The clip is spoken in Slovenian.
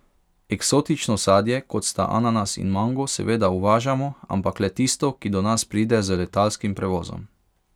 Eksotično sadje, kot sta ananas in mango, seveda uvažamo, ampak le tisto, ki do nas pride z letalskim prevozom.